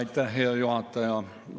Aitäh, hea juhataja!